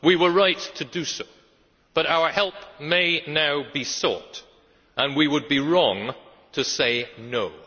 We were right to do so, but our help may now be sought and we would be wrong to say no'.